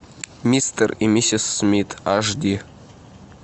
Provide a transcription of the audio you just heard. мистер и миссис смит аш ди